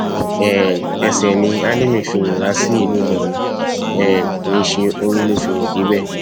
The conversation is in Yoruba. um ẹsẹ ni álímì fi rìn wá sí ìlú ìlọrin um kì í ṣe orí ló fi rìn débẹ